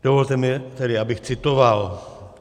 Dovolte mi tedy, abych citoval: